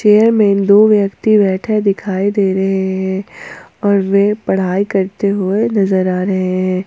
Chair में दो व्यक्ति बैठा दिखाई दे रहे हैं और वे पढ़ाई करते हुए नजर आ रहे हैं।